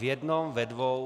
V jednom, ve dvou...